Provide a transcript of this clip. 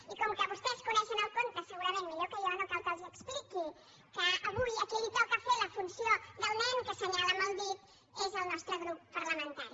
i com que vostès coneixen el conte segurament millor que jo no cal que els l’ex·pliqui que avui a qui li toca fer la funció del nen que assenyala és al nostre grup parlamentari